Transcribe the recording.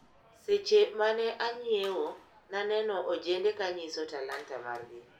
Seche mane anyiewo naneno ojende kanyiso talanta margi.